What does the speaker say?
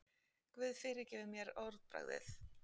Guð fyrirgefi mér orðbragðið.